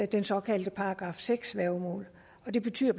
det såkaldte § seks værgemål og det betyder